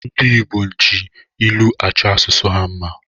Ndi Igbo ji ilụ achọ asụsụ ha mma